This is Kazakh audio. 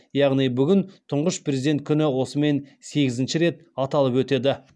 яғни бүгін тұңғыш президент күні осымен сегізінші рет аталып өтеді